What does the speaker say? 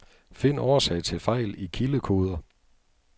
Find årsag til fejl i kildekoder.